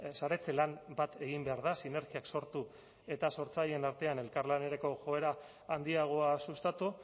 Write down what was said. saretze lan bat egin behar da sinergiak sortu eta sortzaileen artean elkarlanerako joera handiagoa sustatu